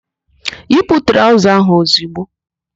Yipu traụza ahụ ozigbo!